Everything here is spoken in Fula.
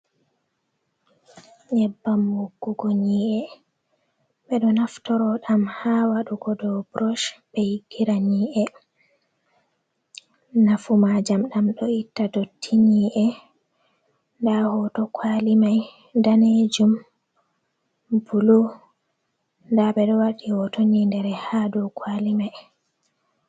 Nyebbam wogugo nyi’e ɓeɗo naftoro ɗam ha waɗugo dou brosh ɓe yigirani’e ni’e, nafu majam ɗam ɗo itta dottini’e nda hoto kwali mai danejum bulu nda ɓeɗo waɗi hoto ynidere ha dou kwali mai.